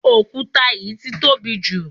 òkúta yìí ti tóbi jù